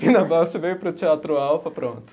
Pina Bausch veio para o Teatro Alfa, pronto.